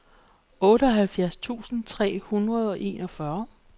otteoghalvfjerds tusind tre hundrede og enogfyrre